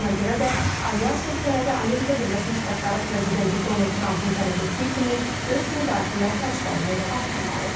Buna görə də Alyans ölkələri Amerika Birləşmiş Ştatları prezidenti Donald Trampın tələb etdiyi kimi öz müdafiə xərclərini artırmalıdır.